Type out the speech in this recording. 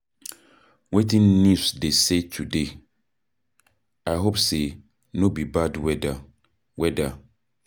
Wetin news dey say today? I hope sey no be bad weather. weather.